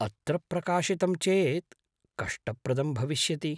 अत्र प्रकाशितं चेत् कष्टप्रदं भविष्यति।